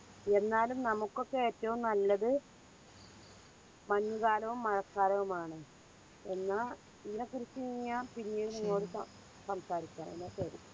എന്നാലും നമുക്കൊക്കെ ഏറ്റവും നല്ലത് മഞ്ഞുകാലവും മഴക്കാലവുമാണ്. എന്നാൽ ഈനക്കുറിച്ച് ഇങ്ങന പിന്നെയും നിന്നെയോട് സം സംസാരിക്കണം എന്നാ ശരി